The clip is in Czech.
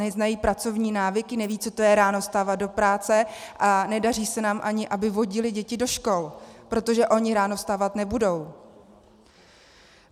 Neznají pracovní návyky, nevědí, co to je ráno vstávat do práce, a nedaří se nám ani, aby vodili děti do škol, protože oni ráno vstávat nebudou.